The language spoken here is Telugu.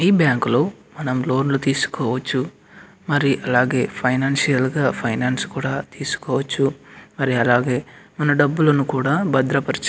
ఈ బ్యాంకులో మనం లోన్లు తీసుకోవచ్చు మరి అలాగే ఫైనాన్సియల్ గ ఫైనాన్స్ కూడా తీసుకోవచ్చు మరి అలాగే మన డబ్బులు కూడా భద్రపరుచు --